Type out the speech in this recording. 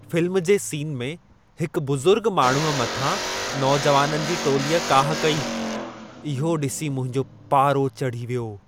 Film जे scene में हिकु बुज़ुर्ग माण्हूअ मथां नौजवाननि जी टोलीअ काहु कई, इहो ॾिसी मुंहिंजो पारो चढ़ी वियो।